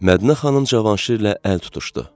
Mədinə xanım Cavanşirlə əl tutuşdu.